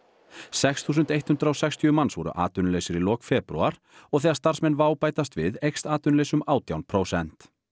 sex þúsund eitt hundrað og sextíu manns voru atvinnulausir í lok febrúar og þegar starfsmenn WOW bætast við eykst atvinnuleysi um átján prósent